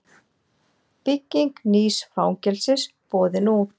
Bygging nýs fangelsis boðin út